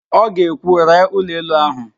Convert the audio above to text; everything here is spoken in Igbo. Ọ ga-ekwu, ree ụlọelu áhụ̀!